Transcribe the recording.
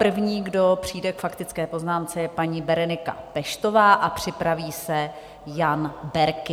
První, kdo přijde k faktické poznámce, je paní Berenika Peštová a připraví se Jan Berki.